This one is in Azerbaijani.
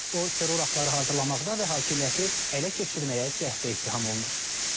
O terror aktları hazırlamaqda və hakimiyyəti ələ keçirməyə cəhdə ittiham olunur.